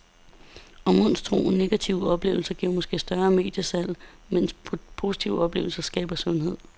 Og monstro, negative oplevelser giver måske større mediesalg, medens positive oplevelser skaber sundhed.